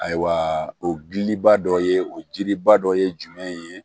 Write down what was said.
Ayiwa o giliba dɔ ye o jiriba dɔ ye jumɛn ye